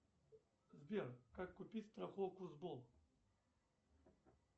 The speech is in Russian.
сбер как купить страховку